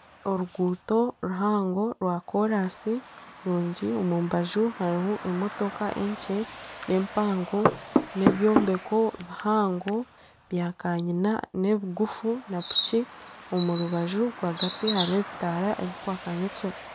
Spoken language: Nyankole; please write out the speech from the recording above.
Orukuuto ruhango rwa korasi rurungi omumbaju harimu emotoka enkye n'empango n'ebyombeko bihango byakanyina n'ebigufu napiki omurubaju. Rwagati hariho ebitaara ebirikwaka nyekiro